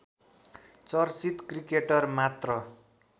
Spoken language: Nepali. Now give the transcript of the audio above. चर्चित क्रिकेटर मात्र